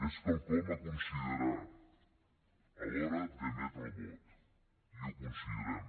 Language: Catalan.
és quelcom a considerar a l’hora d’emetre el vot i ho considerem